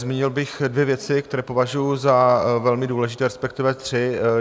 Zmínil bych dvě věci, které považuji za velmi důležité, respektive tři.